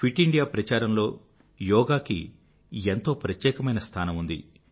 fit India ప్రచారంలో యోగా కి ఎంతో ప్రత్యేకమైన స్థానం ఉంది